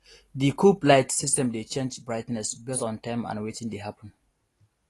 di coop light system dey change brightness based on time and wetin dey happen